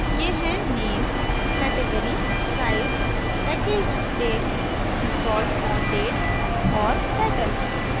ये हैं name category size packaged date installed on date और title